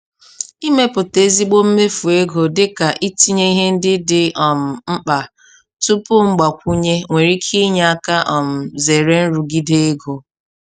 Ịmepụta ezigbo mmefu ego dị ka "itinye ihe ndị dị um mkpa tupu mgbakwunye" nwere ike inye aka um zere nrụgide ego.